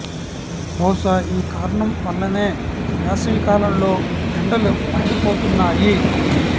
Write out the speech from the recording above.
బహుశా ఈ కారణం వల్లనే వేసవి కాలంలో ఎండలు మండి పోతున్నాయి